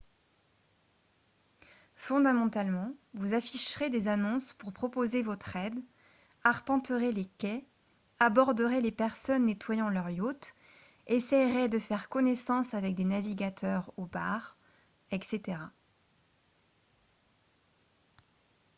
fondamentalement vous afficherez des annonces pour proposer votre aide arpenterez les quais aborderez les personnes nettoyant leurs yachts essayerez de faire connaissance avec des navigateurs au bar etc